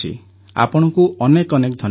ଆପଣଙ୍କୁ ଅନେକ ଅନେକ ଧନ୍ୟବାଦ